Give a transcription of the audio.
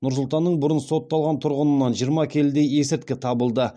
нұр сұлтанның бұрын сотталған тұрғынынан жиырма келідей есірткі табылды